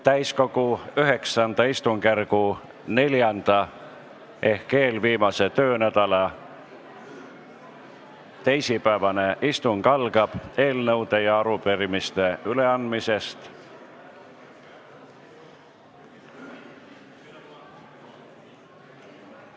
Täiskogu IX istungjärgu neljanda ehk eelviimase töönädala teisipäevane istung algab eelnõude ja arupärimiste üleandmisega.